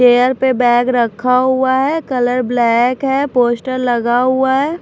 Chair पे bag रखा हुआ है कलर ब्लैक है पोस्टर लगा हुआ है।